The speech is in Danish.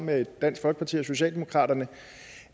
med dansk folkeparti og socialdemokratiet